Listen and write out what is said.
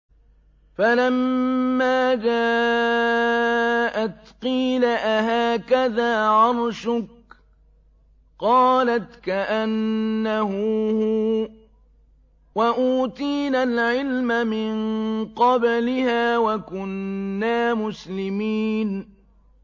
فَلَمَّا جَاءَتْ قِيلَ أَهَٰكَذَا عَرْشُكِ ۖ قَالَتْ كَأَنَّهُ هُوَ ۚ وَأُوتِينَا الْعِلْمَ مِن قَبْلِهَا وَكُنَّا مُسْلِمِينَ